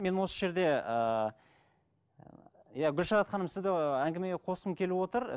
мен осы жерде ыыы иә гүлшарат ханым сізді ііі әңгімеге қосқым келіп отыр